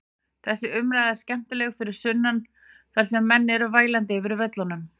Þessi umræða er skemmtileg fyrir sunnan þar sem menn eru vælandi yfir völlunum.